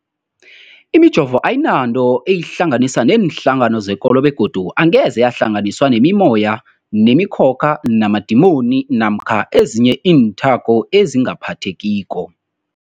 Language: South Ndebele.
Imijovo ayinanto eyihlanganisa neenhlangano zekolo begodu angeze yahlanganiswa nemimoya, nemi khokha, namadimoni namkha ezinye iinthako ezingaphathekiko.